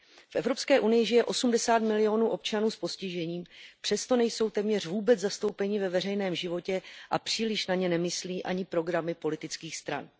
V Evropské unii žije 80 milionů občanů s postižením, přesto nejsou téměř vůbec zastoupeni ve veřejném životě a příliš na ně nemyslí ani programy politických stran.